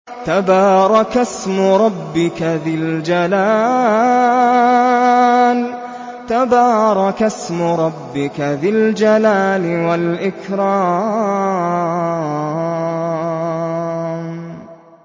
تَبَارَكَ اسْمُ رَبِّكَ ذِي الْجَلَالِ وَالْإِكْرَامِ